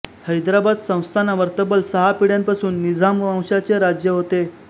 हैदराबाद संस्थानावर तब्बल सहा पिढ्यांपासून निझाम वंशाचे राज्य होते